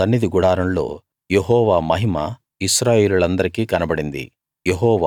అప్పుడు సన్నిధి గుడారంలో యెహోవా మహిమ ఇశ్రాయేలీయులందరికీ కనబడింది